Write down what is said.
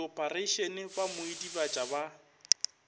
diophareišene ba mo idibatša ba